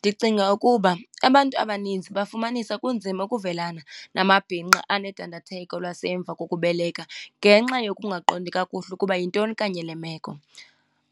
Ndicinga ukuba abantu abaninzi bafumanisa kunzima ukuvelana namabhinqa anedandatheko lwasemva kokubeleka ngenxa yokungaqondi kakuhle ukuba yintoni kanye le meko.